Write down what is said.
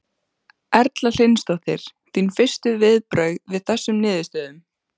Erla Hlynsdóttir: Þín fyrstu viðbrögð við þessum niðurstöðum?